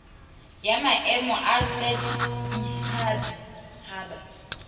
ya maemo a set haba